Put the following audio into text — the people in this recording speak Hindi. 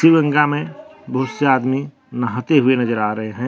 गंगा में बहुत से आदमी नहाते हुए नजर आ रहे हैं।